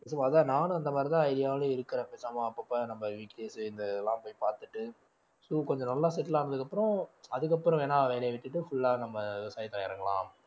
அதான் நானும் அந்த மாதிரிதான் idea ல இருக்கிறேன் பேசாம அப்பப்ப நம்ம வீட்லயே சேர்ந்து இந்த இதெல்லாம் போய் பார்த்துட்டு so கொஞ்சம் நல்லா settle ஆனதுக்கு அப்புறம் அதுக்கப்புறம் வேணா வேலையை விட்டுட்டு full ஆ நம்ம விவசாயத்துல இறங்கலாம்